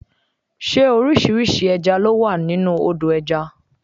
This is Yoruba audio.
Ṣé orísìírísìí ẹja ló wà nínú Odò ẹja?